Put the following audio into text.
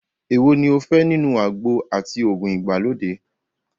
Èwo ní o fẹ́ nínú àgbo àti òògùn ìgbàlódé?